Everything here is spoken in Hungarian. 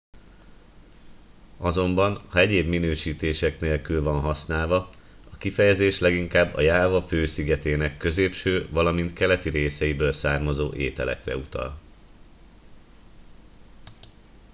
azonban ha egyéb minősítések nélkül van használva a kifejezés leginkább a jáva fő szigetének középső valamint keleti részeiből származó ételekre utal